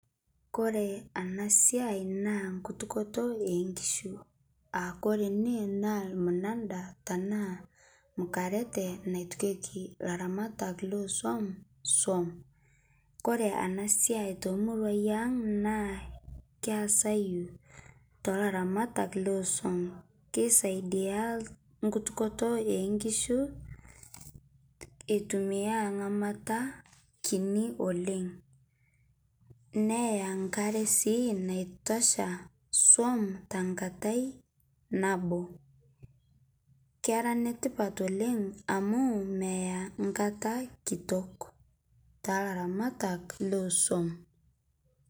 kore ana siai naa nkutukoto eenkishu aakore ene naa lmunanda tanaa mukarate naitukieki laramatak lesuom suom. Kore ana siai te muruai aang naa keasayu talaramatak lesuom keisaidia nkutukotoo enkishu eitumia ngamata kini oleng neya nkare sii naitosha suom tankatai naboo kera netipat oleng amu meya nkata kitok talaramatak lesuom